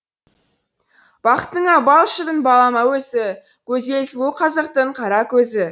бақытыңа бал шырын балама өзі гөзел сұлу қазақтың қаракөзі